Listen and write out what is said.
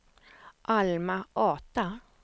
Alma-Ata